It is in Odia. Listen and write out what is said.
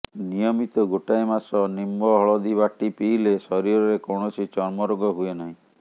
ନିୟମିତ ଗୋଟାଏ ମାସ ନିମ୍ୱ ହଳଦୀ ବାଟି ପିଇଲେ ଶରୀରରେ କୌଣସି ଚର୍ମରୋଗ ହୁଏ ନାହିଁ